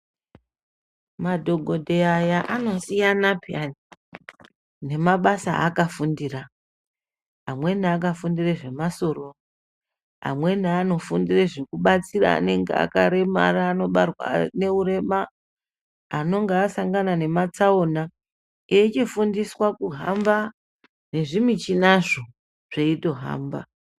Madhokodheya aya anosiyana pheyani, nemabasa aakafundira ,amweni akafundira zvemasoro, amweni anofundira zvekubatsira anenge akaremara anobarwa neurema, anonga asangana nematsaona eichifundiswa kuhamba nezvimuchinazvo, zveitohamba.